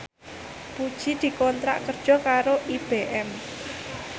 Puji dikontrak kerja karo IBM